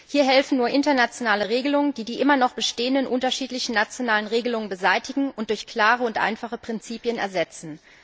Hier helfen nur internationale Regelungen, die die immer noch bestehenden unterschiedlichen nationalen Regelungen beseitigen und durch klare und einfache Prinzipien ersetzen.